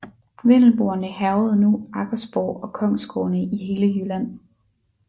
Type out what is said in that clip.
Vendelboerne hærgede nu Aggersborg og kongsgårdene i hele Jylland